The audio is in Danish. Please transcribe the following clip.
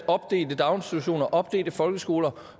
opdelte daginstitutioner opdelte folkeskoler